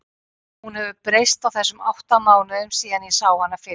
Hún hefur breyst á þessum átta mánuðum síðan ég sá hana fyrst.